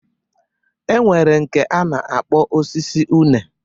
E nwere nke a na-akpọ osisi une.